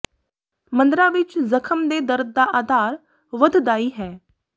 ਮੰਦਰਾਂ ਵਿਚ ਜ਼ਖ਼ਮ ਦੇ ਦਰਦ ਦਾ ਆਧਾਰ ਵੱਧਦਾਈ ਹੈ